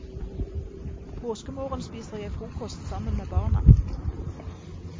Påskemorgen spiser jeg frokost sammen med barna.